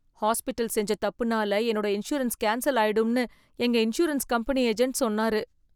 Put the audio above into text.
Hospital செஞ்ச தப்புனால என்னோட இன்சூரன்ஸ் கேன்சல் ஆயிடும்னு எங்க இன்சூரன்ஸ் கம்பெனி ஏஜெண்ட் சொன்னாரு.